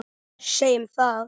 Segjum það.